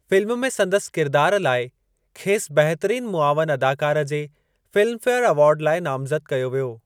Film में संदसि किरदारु लाइ खेसि बहितरीनु मुआविनु अदाकार जी फ़िल्म फेयर एवार्ड लाइ नामज़द कयो वियो।